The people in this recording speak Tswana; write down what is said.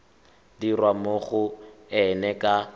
dirwa mo go ena ka